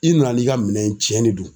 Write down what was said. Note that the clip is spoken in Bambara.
I nana n'i ka minɛn ye cɛn ne don.